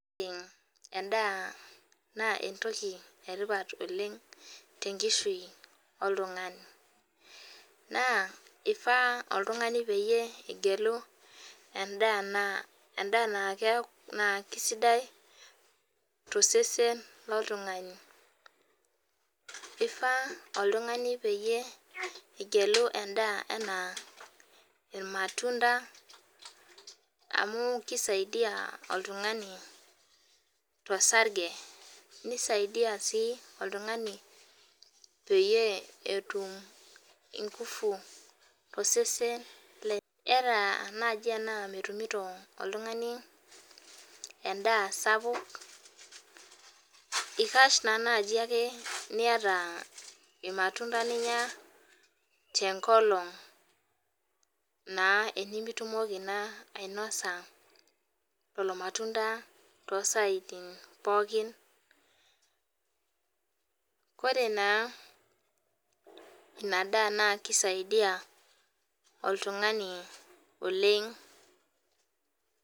Edaa naa entoki etipat oleng te nkishui oltung'ani. Naa eifaa oltung'ani peyie igelu edaa naa keisidai too sesen lo ltung'ani. Eifaa oltung'ani peyie igelu edaa enaa ormatunda amu keisadia oltung'ani torsage nisaidia sii oltung'ani peyie etum ingufu to sesen lenye. Ara naji tena metumito oltung'ani edaa sapuk ikash naa naji ake niata irmatunda linya tenkolong' naa enemitumoki naa ainosa lelo matunda too saaitin pookin. Koree naa ina daa na kisaidia oltung'ani oleng'.